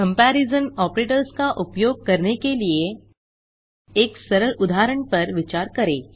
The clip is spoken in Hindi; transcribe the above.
कंपैरिसन ऑपरेटर्स का उपयोग करने के लिए एक सरल उदाहरण पर विचार करें